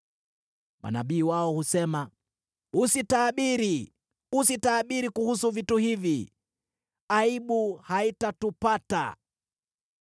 Manabii wao husema, “Usitabiri. Usitabiri kuhusu vitu hivi; aibu haitatupata.”